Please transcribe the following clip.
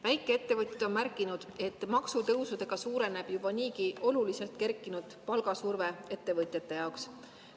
Väikeettevõtjad on märkinud, et maksutõusudega suureneb juba niigi oluliselt kerkinud palgasurve ettevõtjate jaoks.